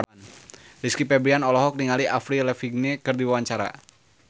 Rizky Febian olohok ningali Avril Lavigne keur diwawancara